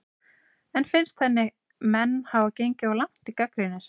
En finnst henni menn hafa gengið of langt í gagnrýni sinni?